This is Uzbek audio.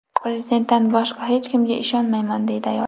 Prezidentdan boshqa hech kimga ishonmayman”, deydi ayol.